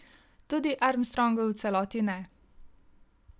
Tudi Armstrongu v celoti ne.